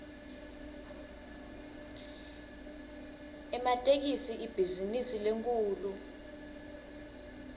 ematekisi ibhizinisi lenkhulu